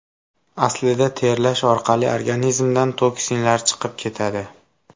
Aslida, terlash orqali organizmdan toksinlar chiqib ketadi.